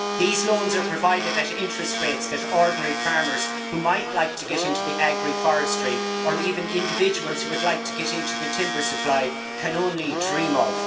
These loans are provided at interest rates that ordinary farmers who might like to get into agri forestry, or even individuals who would like to get into the timber supply, can only dream of.